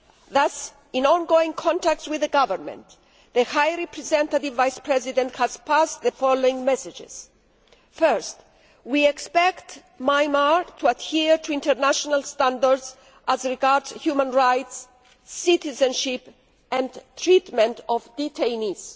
Thus, in ongoing contacts with the Government, the High Representative Vice President has passed on the following messages First, we expect Myanmar to adhere to international standards as regards Human Rights, citizenship and treatment of detainees.